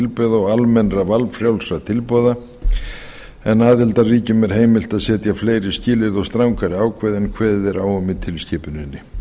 tilbrigða og almennra valfrjálsra tilboða en aðildarríkjum er heimilt að setja fleiri skilyrði og strangari ákvæði en kveðið er á í tilskipuninni